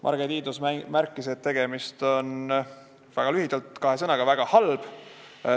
Marge Tiidus märkis, et väga lühidalt, kahe sõnaga öeldes on see väga halb.